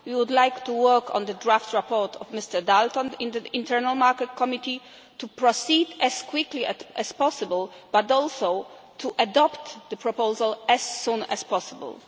We would like the work on the draft report of Mr Dalton and the Internal Market Committee to proceed as quickly as possible, but also to adopt the proposal as soon as possible.